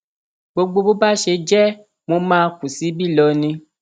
gbogbo bó bá ṣe jẹ mọ máa kù síbí lọni